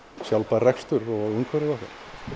sjálfbær rekstur og umhverfið okkar